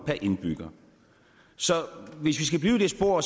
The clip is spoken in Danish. per indbygger så hvis vi skal blive i det spor